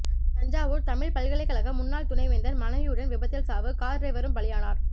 தஞ்சாவூர் தமிழ் பல்கலைக்கழக முன்னாள் துணை வேந்தர் மனைவியுடன் விபத்தில் சாவு கார் டிரைவரும் பலியானார்